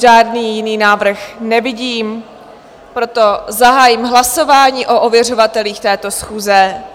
Žádný jiný návrh nevidím, proto zahájím hlasování o ověřovatelích této schůze.